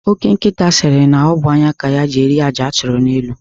Ọke nkita siri na ọ bụ anya ka ya ji eri àjà a chụrụ n'elu.